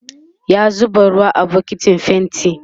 ya zuba ruwa a bukitin fainti